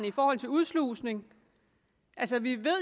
i forhold til udslusning altså vi ved